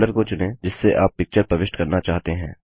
folder को चुनें जिससे आप पिक्चर प्रविष्ट करना चाहते हैं